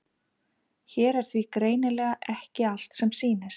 Hér er því greinilega ekki allt sem sýnist.